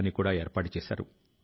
లోతైన స్ఫూర్తి ని ఇస్తుంది